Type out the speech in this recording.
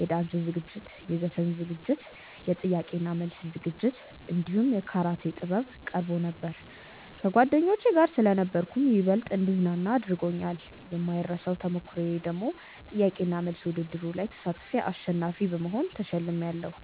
የዳንስ ዝግጅት፣ የዘፈን ዝግጅት፣ የጥያቄ እና መልስ ዝግጅት እንዲሁም የካራቴ ጥበብ ቀርቦ ነበር። ከጓደኞቼ ጋር ስለነበርኩም ይበልጥ እንድዝናና አድርጎኛል። የማይረሳው ተሞክሮዬ ደግሞ ጥያቄ እና መልስ ውድድሩ ላይ ተሳትፌ አሸናፊ በመሆን ተሸልሜያለው።